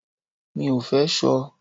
Mi ò fẹ́ ṣọ.